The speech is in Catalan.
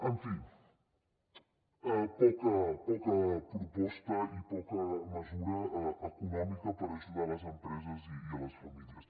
en fi poca proposta i poca mesura econòmica per ajudar les empreses i les famílies